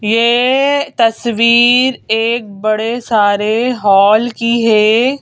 ये तस्वीर एक बड़े सारे हाल की है।